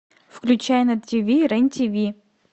включай на тв рен тв